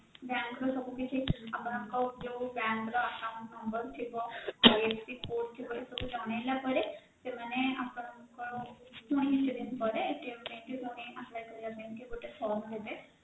bank ର ସବୁ କିଛି ଆପଣଙ୍କ ଯୋଉ bank ର account number ଥିବ ଏମିତି IFSC code ଥିବ ଜଣେଇଲ ପରେ ସେମାନେ ଆପଣଙ୍କର ପୁଣି କିଛି ଦିନ ପରେ ପାଇଁ apply କରିବା ପାଇଁକି ଗୋଟେ form ଦେବେ